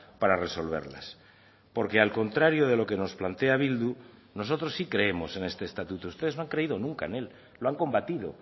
para resolverlas porque al contrario de lo que nos plantea bildu nosotros sí creemos en este estatuto ustedes no han creído nunca en él lo han combatido